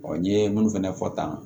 n'i ye minnu fɛnɛ fɔ tan